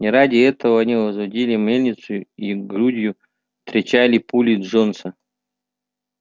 не ради этого они возводили мельницу и грудью встречали пули джонса